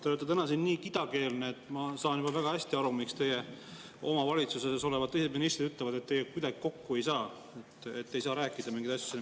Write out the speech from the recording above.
Te olete täna siin nii kidakeelne, et ma saan juba väga hästi aru, miks teie oma valitsuses olevad teised ministrid ütlevad, et teiega kuidagi kokku ei saa, ei saa rääkida mingeid asju.